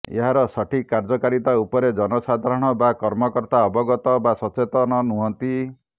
ଏହାର ସଠିକ୍ କାର୍ଯ୍ୟକାରିତା ଉପରେ ଜନସାଧାରଣ ବା କର୍ମକର୍ତା ଅବଗତ ବା ସଚେତନ ନୁହଁନ୍ତି